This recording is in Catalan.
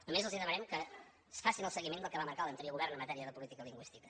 només els demanarem que facin el seguiment del que va marcar l’anterior govern en matèria de política lingüística